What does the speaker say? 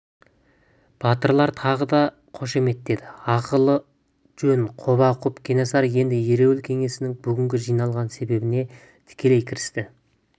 батырлар тағы да қошеметтеді ақыл жөн құба-құп кенесары енді ереуіл кеңесінің бүгінгі жиналған себебіне тікелей кірісті